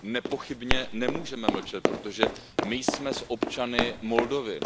No nepochybně nemůžeme mlčet, protože my jsme s občany Moldavska.